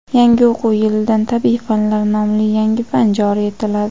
Yangi o‘quv yilidan "Tabiiy fanlar" nomli yangi fan joriy etiladi.